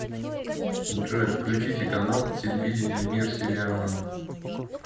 джой включите канал телевидения мир сериала